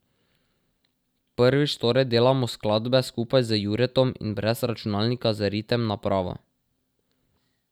Prvič torej delamo skladbe skupaj z Juretom in brez računalnika z ritem napravo.